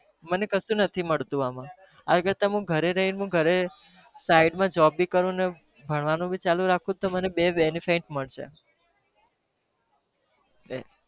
મને કશું નથી મળતું આમાં, આ કરતા હું ઘરે રહીને હું ઘરે side માં job ભી કરું અને ભણવાનું બી ચાલુ રાખું તો મને બે benefits મળશે. એ